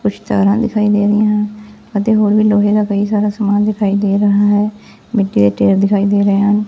ਕੁੱਛ ਤਾਰਾਂ ਦਿਖਾਈ ਦੇ ਰਾਹੀਆਂ ਹਨ ਅਤੇ ਹੋਰ ਵੀ ਲੋਹੇ ਦਾ ਕਈ ਸਾਰਾ ਸਮਾਨ ਦਿਖਾਈ ਦੇ ਰਿਹਾ ਹੈ ਮਿੱਟੀ ਦੇ ਡੇਰ ਦਿਖਾਈ ਦੇ ਰਹੇ ਹਨ।